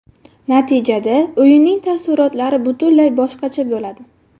Natijada, o‘yinning taassurotlari butunlay boshqacha bo‘ladi.